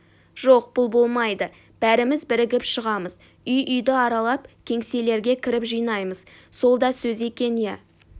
жоқ бұл болмайды бәріміз бірігіп шығамыз үй-үйді аралап кеңселерге кіріп жинаймыз сол да сөз екен иө